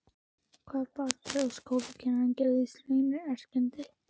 Hvað bar til að skólakennarinn gerðist leynierindreki?